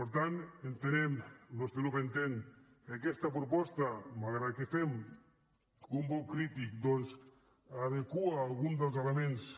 per tant entenem el nostre grup entén que aquesta proposta malgrat que fem un vot crític doncs adequa algun dels elements